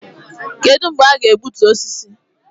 Kedụ mgbe a ga-egbutu osisi?